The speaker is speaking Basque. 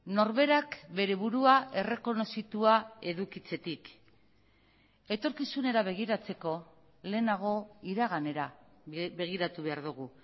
norberak bere burua errekonozitua edukitzetik etorkizunera begiratzeko lehenago iraganera begiratu behar dugu